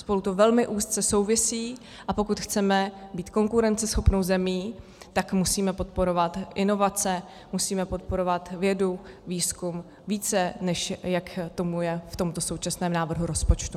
Spolu to velmi úzce souvisí, a pokud chceme být konkurenceschopnou zemí, tak musíme podporovat inovace, musíme podporovat vědu, výzkum více, než jak tomu je v tomto současném návrhu rozpočtu.